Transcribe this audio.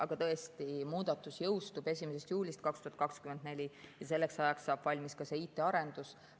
Aga tõesti, muudatus jõustub 1. juulist 2024 ja selleks ajaks saab valmis ka IT‑arendus.